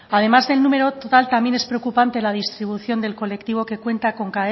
además del número total también es preocupante la distribución del colectivo que cuenta